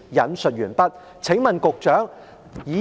"我請問局長，